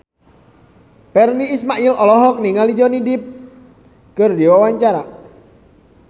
Virnie Ismail olohok ningali Johnny Depp keur diwawancara